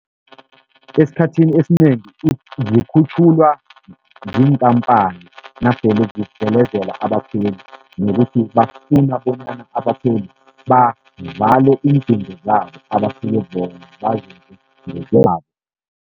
Esikhathini esinengi zikhutjhulwa ziinkhampani nasele zidlelezela abakhweli, nokuthi bafuna bonyana abakhweli bavale iindingo zabo abasuke bona bazenze ngokwabo.